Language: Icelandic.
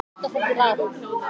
Broddi: Takk fyrir það Haukur.